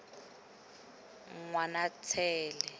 ngwanatsele